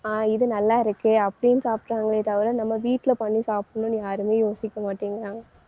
ஆஹ் இது நல்லாயிருக்கே அப்படின்னு சாப்பிடறாங்களே தவிர நம்ம வீட்டுல பண்ணி சாப்பிடணும்னு யாருமே யோசிக்க மாட்டேங்கிறாங்க.